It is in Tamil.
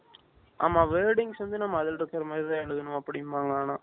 ஆமா wordings வந்து நம்ம அதுல இருக்குற மாதிரிதான் எழுதனும் அப்படிம்பாங்க ஆனா